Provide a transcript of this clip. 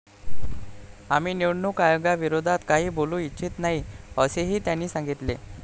आम्ही निवडणूक आयोगाविरोधात काही बोलू इच्छित नाही, असेही त्यांनी सांगितले.